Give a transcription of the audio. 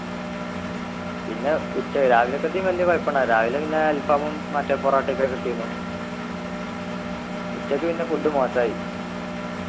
പിന്നെ ഉച്ച രാവിലക്കത്തീം വല്യ കൊഴപ്പുണ്ടായില്ല രാവിലെ പിന്നെ അൽഫാമും മറ്റേ പൊറോട്ട ഒക്കെ കിട്ടിയിന്നു ഉച്ചക്ക് പിന്നെ food മോശായി